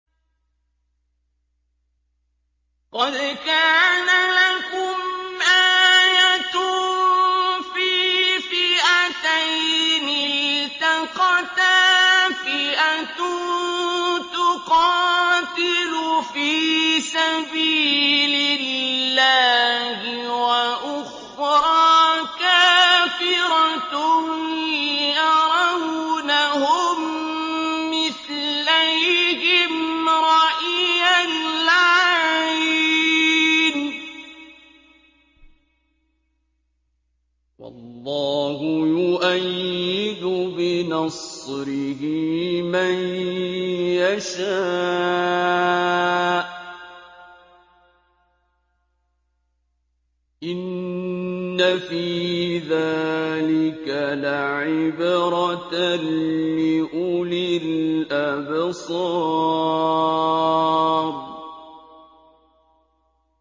قَدْ كَانَ لَكُمْ آيَةٌ فِي فِئَتَيْنِ الْتَقَتَا ۖ فِئَةٌ تُقَاتِلُ فِي سَبِيلِ اللَّهِ وَأُخْرَىٰ كَافِرَةٌ يَرَوْنَهُم مِّثْلَيْهِمْ رَأْيَ الْعَيْنِ ۚ وَاللَّهُ يُؤَيِّدُ بِنَصْرِهِ مَن يَشَاءُ ۗ إِنَّ فِي ذَٰلِكَ لَعِبْرَةً لِّأُولِي الْأَبْصَارِ